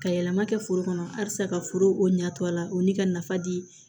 Ka yɛlɛma kɛ foro kɔnɔ halisa ka foro ɲa to a la o ni ka nafa di